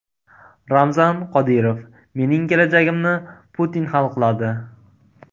Ramzan Qodirov: mening kelajagimni Putin hal qiladi.